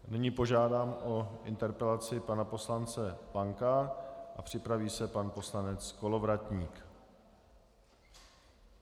Nyní požádám o interpelaci pana poslance Lanka a připraví se pan poslanec Kolovratník.